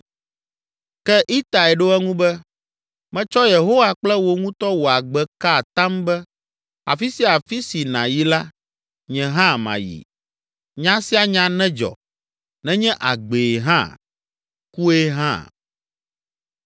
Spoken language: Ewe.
Ke Itai ɖo eŋu be, “Metsɔ Yehowa kple wò ŋutɔ wò agbe ka atam be afi sia afi si nàyi la, nye hã mayi; nya sia nya nedzɔ, nenye agbee hã, kue hã!”